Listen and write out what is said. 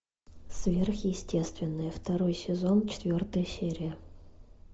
сверхъестественное второй сезон четвертая серия